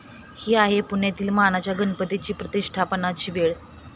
ही आहे पुण्यातील मानाच्या गणपतीची प्रतिष्ठापनाची वेळ